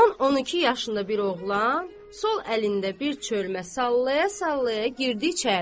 10-12 yaşında bir oğlan sol əlində bir çölmə sallaya-sallaya girdi içəri.